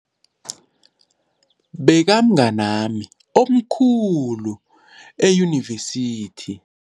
Bekamngani wami okhulu eyunivesithi.